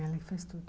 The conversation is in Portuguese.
Ela que faz tudo.